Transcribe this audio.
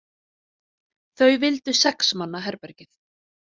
Þau vildu sex manna herbergið.